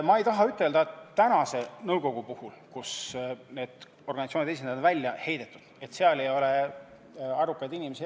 Ma ei taha öelda, et praeguses nõukogus, kust organisatsioonide esindajad on välja heidetud, ei ole eksperte ja muid arukaid inimesi.